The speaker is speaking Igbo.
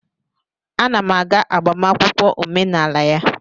Ana m aga agbamakwụkwọ omenala ya